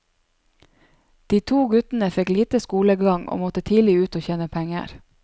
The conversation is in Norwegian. De to guttene fikk lite skolegang, og måtte tidlig ut og tjene penger.